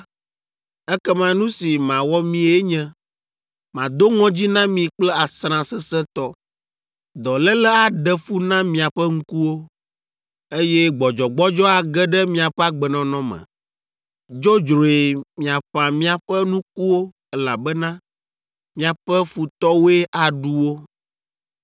ekema nu si mawɔ mie nye: mado ŋɔdzi na mi kple asrã sesẽtɔ. Dɔléle aɖe fu na miaƒe ŋkuwo, eye gbɔdzɔgbɔdzɔ age ɖe miaƒe agbenɔnɔ me. Dzodzroe miaƒã miaƒe nukuwo, elabena miaƒe futɔwoe aɖu wo.